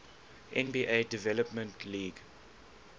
nba development league